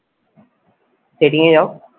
setting এ যাও।